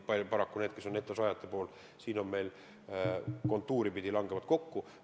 Paraku nendega, kes on netosaajad, meil kontuuri pidi langevad soovid kokku.